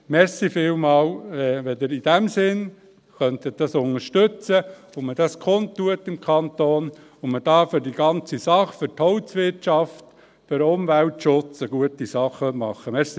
Vielen Dank, wenn Sie das in diesem Sinne unterstützen könnten, wenn man dies im Kanton kundtut und hier für das Ganze, für die Holzwirtschaft und den Umweltschutz, eine gute Sache machen könnte.